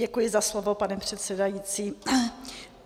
Děkuji za slovo, pane předsedající.